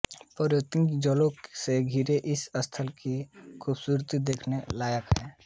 पर्वतों और जंगलों से घिरे इस स्थल की खूबसूरती देखने लायक है